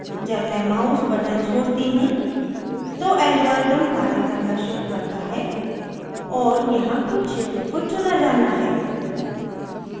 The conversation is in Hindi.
जब मैं mouse button छोड़ती हूँ तो algorithm कार्य करना शुरू करता है और यहाँ कुछ क्षेत्रों को चुना जाना है